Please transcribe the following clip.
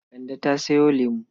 Kande ta sayo lamo.